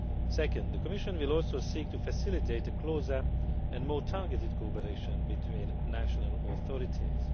Second, the Commission will also seek to facilitate closer and more targeted cooperation between national authorities.